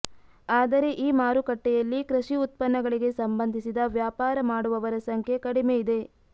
ಆದರೆ ಈ ಮಾರುಕಟ್ಟೆಯಲ್ಲಿ ಕೃಷಿ ಉತ್ಪನ್ನಗಳಿಗೆ ಸಂಬಂಧಿಸಿದ ವ್ಯಾಪಾರ ಮಾಡುವವರ ಸಂಖ್ಯೆ ಕಡಿಮೆಯಿದೆ